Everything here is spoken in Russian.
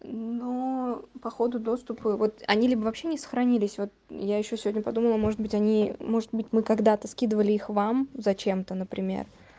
ну походу доступы вот они либо вообще не сохранились вот я ещё сегодня подумаю может быть они может быть мы когда-то скидывали их вам зачем-то например